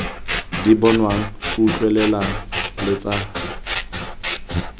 di bonwang utlwelelwang le tsa